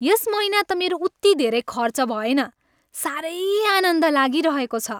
यस महिना त मेरो उति धेरै खर्च भएन। साह्रै आनन्द लागिरहेको छ।